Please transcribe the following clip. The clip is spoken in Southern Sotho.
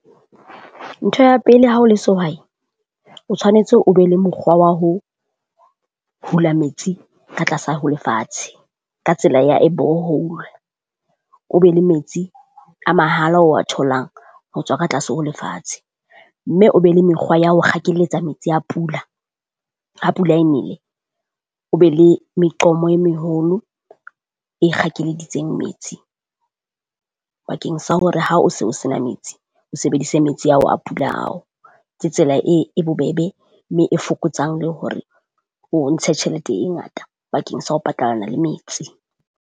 Ntho ya pele ha o le sehwai, o tshwanetse o be le mokgwa wa ho hula metsi ka tlasa ho lefatshe ka tsela ya a borehole. O be le metsi a mahala o wa tholang ho tswa ka tlase ho lefatshe, mme o be le mekgwa ya ho kgakeletsa metsi a pula ha pula e nele, o be le meqomo e meholo e kgakeleditseng metsi. Bakeng sa hore ha o se o sena metsi, o sebedise metsi ao a pula ao tse tsela e bobebe mme e fokotsang le hore o ntshe tjhelete e ngata bakeng sa ho patalana le metsi.